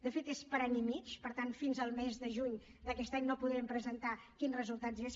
de fet és per a any i mig per tant fins al mes de juny d’aquest any no podrem presentar quins resultats són